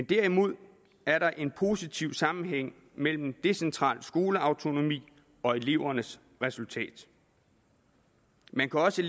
derimod er der en positiv sammenhæng mellem decentral skoleautonomi og elevernes resultat man kan også